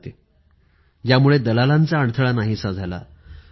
त्याला आदेश द्यायला हवे यामुळे अभिकर्ते पद्धत बंद झाली